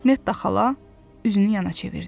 Netta xala üzünü yana çevirdi.